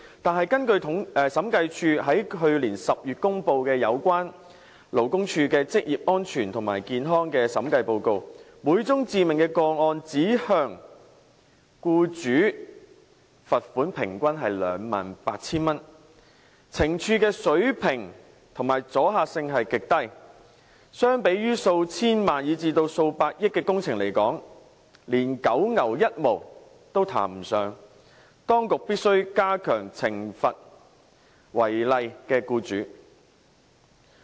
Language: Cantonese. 但是，根據審計署在去年10月公布有關勞工處的職業安全及健康的審計報告，每宗致命個案只向僱主罰款平均 28,000 元，懲處水平和阻嚇性極低，相比於數千萬元、以至數百億元的工程來說，連九牛一毛也談不上，當局必須加強懲罰違例的僱主。